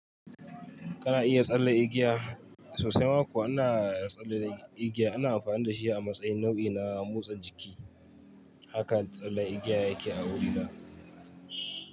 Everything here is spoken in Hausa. Kana iya tsalle igiya sosai ma kuwa ina tsalle da igiya ina amfani da shi a matsayin nau'i na motsa jiki. Haka tsalle igiya yake a wurina.